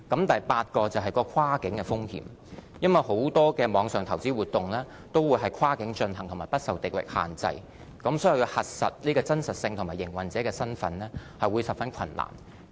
第八是跨境的風險，因為很多網上投資活動都是跨境進行和不受地域限制，所以要核實有關方面的真實性和營運者的身份會十分困難。